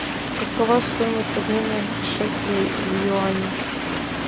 какова стоимость обмена шекелей в юани